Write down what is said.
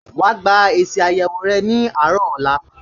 Wà á gba èsì àyẹ̀wò rẹ ní àárọ̀ ọ̀la